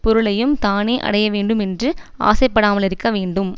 பொருளையும் தானே அடைய வேண்டுமென்று ஆசைப்படாமலிருக்க வேண்டும்